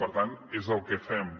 per tant és el que fem